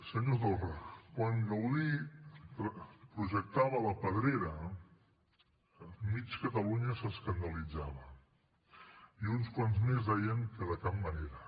senyor torra quan gaudí projectava la pedrera mig catalunya s’escandalitzava i uns quants més deien que de cap manera